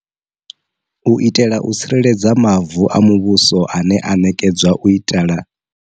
U itela u tsireledza mavu a muvhuso ane a ṋekedzwa u itala.